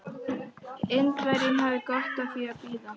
Indverjinn hafði gott af því að bíða.